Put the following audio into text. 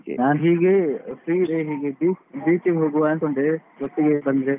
ಹೀಗೆ free ಇದ್ರೆ ಹೀಗೆ beach beach ಗ್ ಹೋಗುವ ಅನ್ಕೊಂಡೆ ಒಟ್ಟಿಗೆ ಬಂದ್ರೆ.